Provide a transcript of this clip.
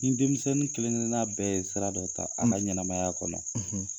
Ni denmisɛnnin kelen kelen na bɛɛ ye sira dɔ ta a ka ɲɛnamaya kɔnɔ.